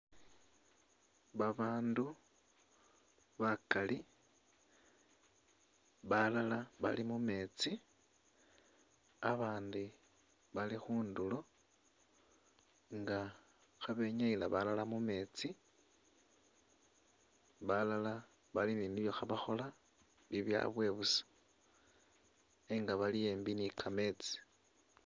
Babandu bakali, balala bali mumeetsi, abandi bali khundulo nga khabenyayila balala mu meetsi, balala bali ni nibyo khabakhola bibyabwe busa nenga bali ambi ni kameetsi.